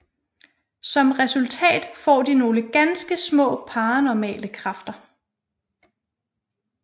Som resultat får de nogle ganske små paranormale kræfter